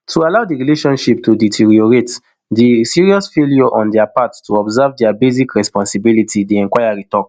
to allow di relationship to deteriorate na serious failure on dia part to observe dia basic responsibilities di inquiry tok